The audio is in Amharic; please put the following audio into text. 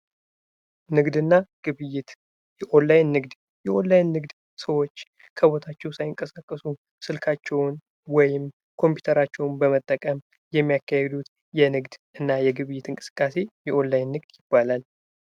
ንግድ እና ግብይት የኦላይን ንግድ የኦላይን ንግድ ሰዎች ከቦታቸው ሳይንቀሳቀሱ ስልካቸውን ወይም ኮምፒተራቸውን በመጠቀም የሚያካሂዱት የንግድ እና የግብይት እንቅስቃሴ የኦንላይን ንግድ ይባላል::